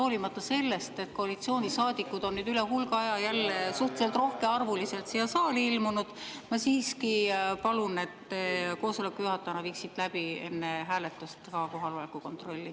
Hoolimata sellest, et koalitsioonisaadikud on nüüd üle hulga aja jälle suhteliselt rohkearvuliselt siia saali ilmunud, ma siiski palun, et te koosoleku juhatajana teeksite enne hääletust ka kohaloleku kontrolli.